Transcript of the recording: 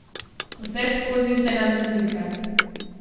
Vseskozi se nam izmika.